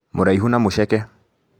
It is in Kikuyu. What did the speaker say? Mũraihu na mũceke